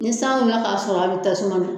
Ni san wulila ka sɔrɔ a bi tasuma na.